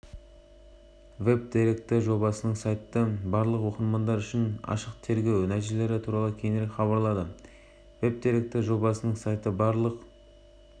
ең бастысы жоба қазақстан тарихына қызығушылық танытқан оқырманға таптырмас дерек көзі бола алады осы мақсатпен қазақ орыс ағылшын тілдерінде дайындалған